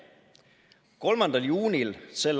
3. juunil s.